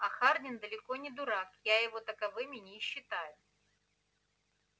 а хардин далеко не дурак я его таковыми не считаю